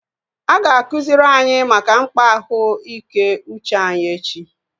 A ga-akụziri anyị maka mkpa ahụ ike uche anyi echi